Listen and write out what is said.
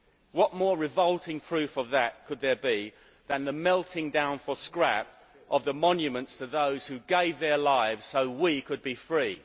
What more revolting proof of that could there be than the melting down for scrap of the monuments to those who gave their lives so we could be free.